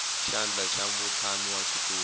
xandla xa mutshami wa xitulu